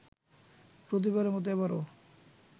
প্রতিবারের মতো এবারও